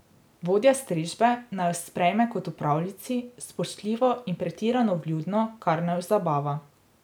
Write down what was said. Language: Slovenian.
Vodja strežbe naju sprejme kot v pravljici, spoštljivo in pretirano vljudno, kar naju zabava.